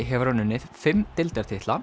hefur hann unnið fimm